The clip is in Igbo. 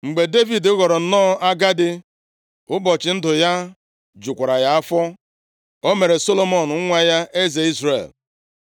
Mgbe Devid ghọrọ nnọọ agadi, ụbọchị ndụ ya jukwara ya afọ, o mere Solomọn nwa ya, eze Izrel.